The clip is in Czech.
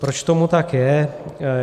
Proč tomu tak je?